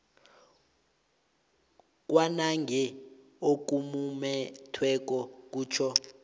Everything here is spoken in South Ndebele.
kwanange okumumethweko kutjho